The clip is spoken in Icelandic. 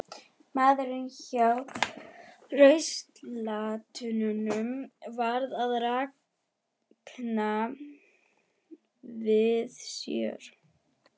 Maðurinn hjá ruslatunnunum var að ranka við sér.